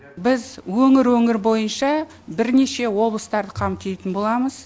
біз өңір өңір бойынша бірнеше облыстарды қамтитын боламыз